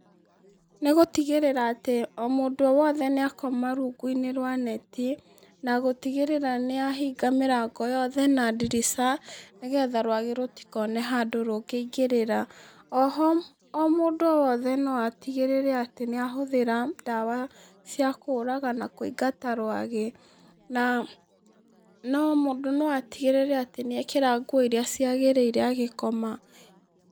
Nĩgũtigĩrĩra atĩ o mũndũ wothe nĩakoma rũngũ-inĩ rwa neti na gũtigĩrĩra nĩahinga mirango yothe na ndirica nĩgetha rwagĩ rũtikone handũ rũngĩingĩrĩra oho o mũndũ o wothe no atĩgĩrĩre atĩ nĩahũthira ndawa cĩa kũraga na kũingata rwagĩ na no mũndũ no atĩgĩrĩre nĩ ekĩra ngũo iria cĩagĩrĩira agĩkoma.